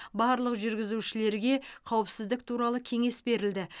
барлық жүргізушілерге қауіпсіздік туралы кеңес берілді